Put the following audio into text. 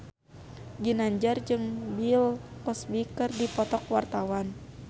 Ginanjar jeung Bill Cosby keur dipoto ku wartawan